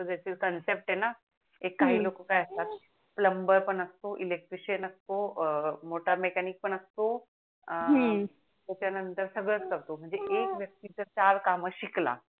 ते काही लोक काय असतात प्लंबर पण असतो इलेक्ट्रिशन असतो मोठा मेकॅनिक पण असतो हम्म त्याच्या नंतर सगडच करतो म्हणजे एक व्यक्ति जर चार काम शिकला